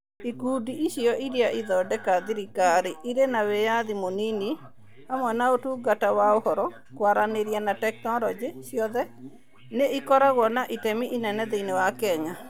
Ikundi icio irĩa ithondeka thirikari ĩrĩ na wĩyathi mũnini (SAGAs) hamwe na Ũtungata wa Ũhoro, Kwaranĩria na Teknorojĩ (MoICT) ciothe nĩ ikoragwo na itemi inene thĩinĩ wa Kenya.